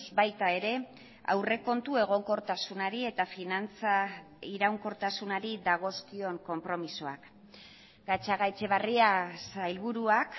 baita ere aurrekontu egonkortasunari eta finantza iraunkortasunari dagozkion konpromisoak gatzagaetxebarria sailburuak